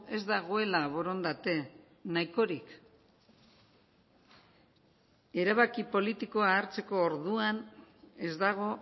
ez dagoela borondate nahikorik erabaki politikoa hartzeko orduan ez dago